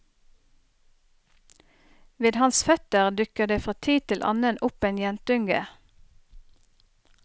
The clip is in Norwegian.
Ved hans føtter dukker det fra tid til annen opp en jentunge.